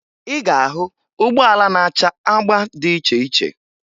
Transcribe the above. Ị ga-ahụ ụgbọala na-acha agba dị iche iche